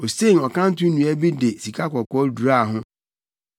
Osen ɔkanto nnua bi de sikakɔkɔɔ duraa ho.